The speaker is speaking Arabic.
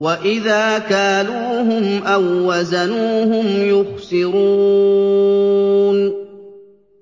وَإِذَا كَالُوهُمْ أَو وَّزَنُوهُمْ يُخْسِرُونَ